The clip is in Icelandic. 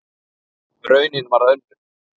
Raunin varð önnur.